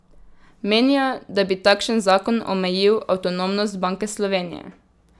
Menijo, da bi takšen zakon omejil avtonomnost Banke Slovenije.